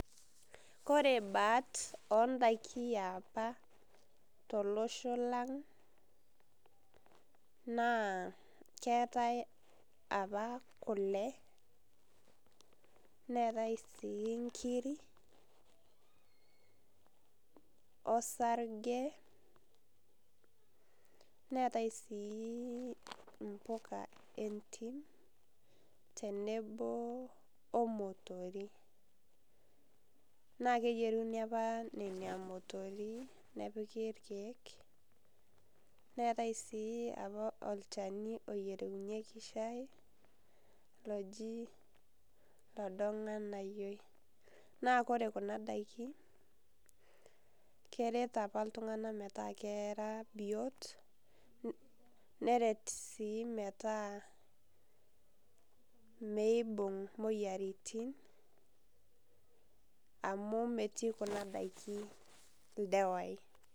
Kore baat ondakin e paa to losho lang' naa keetai apaa kulee neetai sii ng'iri osarijee neetai sii mbukaa entiim tenebo omotori. Naa keyeeruni apaa nenia motori nepiiki lkiek. Neetai sii apaa olchaani oyeremunye shai lojii lodong'anaiyo. Naa kore kuna ndakin kereet apaa ltung'ana metaa kera biot nereet sii metaa meibung'u moyiaritin, amu metii kuna ndaki eldewai.